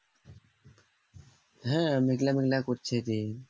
হ্যাঁ মেঘলা মেঘলা করছে দিন